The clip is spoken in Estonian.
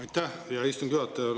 Aitäh, hea istungi juhataja!